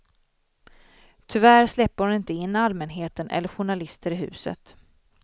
Tyvärr släpper hon inte in allmänheten eller journalister i huset.